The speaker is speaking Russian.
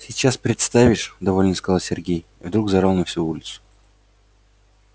сейчас представишь довольно сказал сергей и вдруг заорал на всю улицу